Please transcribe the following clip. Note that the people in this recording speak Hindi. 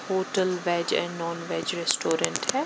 Hotel veg and non veg restaurant .